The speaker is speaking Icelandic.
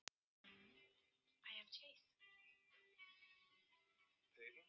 En út af hverju var hún að þessu?